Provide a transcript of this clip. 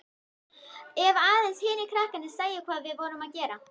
Ef aðeins hinir krakkarnir sæju hvað við vorum að gera.